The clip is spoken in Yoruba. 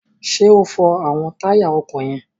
Ṣé o fọ àwọn táyà ọkọ̀ yẹn?